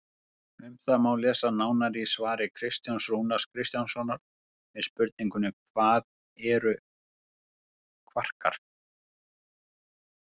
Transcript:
Um það má lesa nánar í svari Kristjáns Rúnars Kristjánssonar við spurningunni Hvað eru kvarkar?